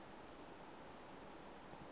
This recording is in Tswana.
e tswang mo metsing a